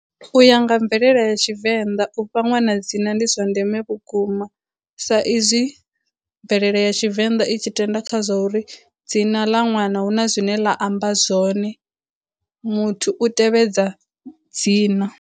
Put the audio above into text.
U ya nga mvelele ya Tshivenḓa u fha ṅwana dzina ndi zwa ndeme vhukuma sa izwi mvelele ya Tshivenḓa i tshi tenda kha zwa uri dzina ḽa ṅwana huna zwine ḽa amba zwone, muthu u tevhedza dzina.